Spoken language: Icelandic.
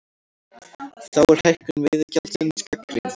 Þar er hækkun veiðigjaldsins gagnrýnd